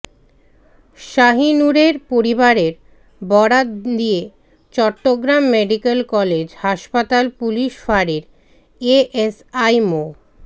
শাহিনুরের পরিবারের বরাত দিয়ে চট্টগ্রাম মেডিকেল কলেজ হাসপাতাল পুলিশ ফাঁড়ির এএসআই মো